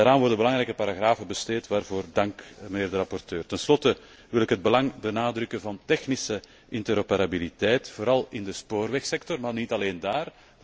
Daaraan worden belangrijke paragrafen besteed, waarvoor dank aan de rapporteur. Tenslotte wil ik het belang benadrukken van de technische interoperabiliteit, vooral in de spoorwegsector, maar niet alleen daar.